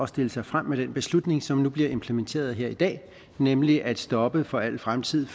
stille sig frem med den beslutning som nu bliver implementeret her i dag nemlig at stoppe for al fremtidig